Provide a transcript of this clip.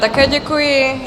Také děkuji.